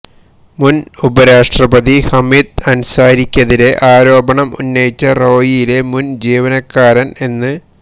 മുന് ഉപരാഷ്ട്രപതി ഹമീദ് അന്സാരിയ്ക്കതിരെ ആരോപണം ഉന്നയിച്ച റോയിലെ മുന് ജീവനക്കാരന് എന്